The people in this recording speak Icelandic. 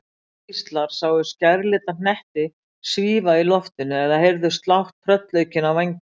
Aðrir gíslar sáu skærlita hnetti svífa í loftinu eða heyrðu slátt tröllaukinna vængja.